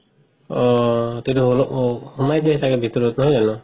অ তেতিয়া অল্হ সুমাই যাই চাগে ভিতৰত নহয় জানো